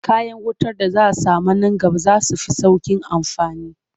Future electrical devices will be easier to use.